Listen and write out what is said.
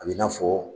A b'i n'a fɔ